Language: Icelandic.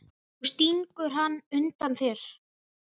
Nú stingur hann undan þér!